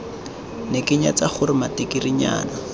ne ke nyatsa gore matikirinyana